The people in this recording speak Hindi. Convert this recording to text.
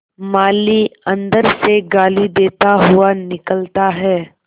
माली अंदर से गाली देता हुआ निकलता है